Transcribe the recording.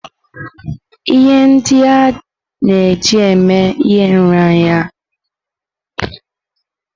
Ihe ndị a na-eji eme ihe nraranye ụmụaka gụnyere oji, nnu na ose.